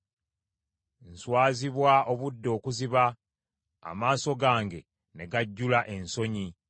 Nswazibwa obudde okuziba, amaaso gange ne gajjula ensonyi,